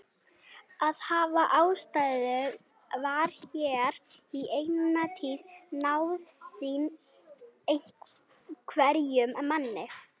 Að hafa ástæðu var hér í eina tíð nauðsyn hverjum manni.